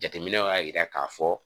Jateminɛw y'a jira k'a fɔ